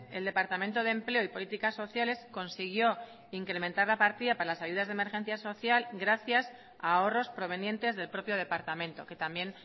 el departamento de empleo y políticas sociales consiguió incrementar la partida para las ayudas de emergencia social gracias a ahorros provenientes del propio departamento que también